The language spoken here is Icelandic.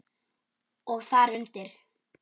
Og þar undir